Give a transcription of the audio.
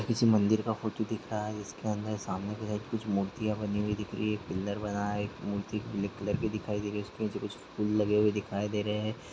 किसी मंदिर का फोटो दिख रहा है जिसके अंदर सामने जो है कुछ मूर्तियाँ बनी हुई दिख रही हैं। एक पिल्लर बना है। एक मूर्ति पीले कलर की दिखाई दे रही है। उसके नीचे कुछ फूल लगे हुए दिखाई दे रहे हैं।